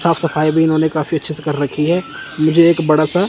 साफ सफाई भी इन्होंने काफी अच्छे कर रखी है मुझे एक बड़ासा--